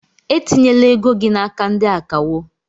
Etinyela ego gị n'aka ndị akawo!